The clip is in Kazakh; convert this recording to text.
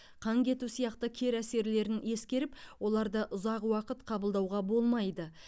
қан кету сияқты кері әсерлерін ескеріп оларды ұзақ уақыт қабылдауға болмайды